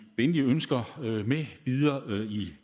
venlige ønsker med videre